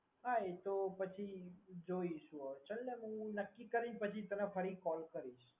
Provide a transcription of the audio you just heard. હા એ તો પછી જઈશું ચલ ને હવે હું નક્કી કરી પછી ફરી તને call કરીશ